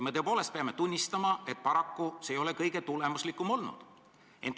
Me peame tunnistama, et paraku ei ole see kõige tulemuslikum olnud.